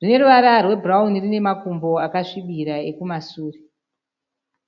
Rine ruvara rwebhurauni rine makumbo akasvibira ekumasure.